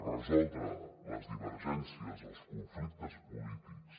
resoldre les divergències els conflictes polítics